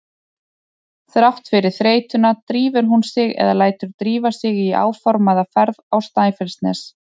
Þrátt fyrir þreytuna drífur hún sig eða lætur drífa sig í áformaða ferð á Snæfellsnes.